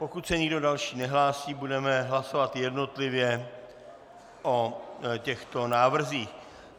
Pokud se nikdo další nehlásí, budeme hlasovat jednotlivě o těchto návrzích.